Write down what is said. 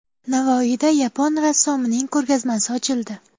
Navoiyda yapon rassomining ko‘rgazmasi ochildi.